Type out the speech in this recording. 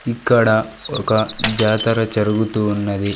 ఇక్కడ ఒక జాతర జరుగుతూ ఉన్నది.